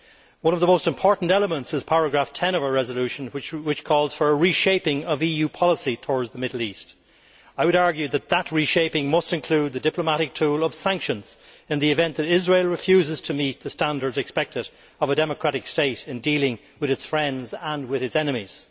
One of the most important elements is paragraph 10 of our resolution, which calls for a reshaping of EU policy towards the Middle East. I would argue that that reshaping must include the diplomatic tool of sanctions in the event that Israel refuses to meet the standards expected of a democratic state in dealing with its friends and with its enemies.